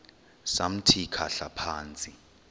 samthi khahla phantsi